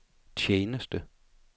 tjeneste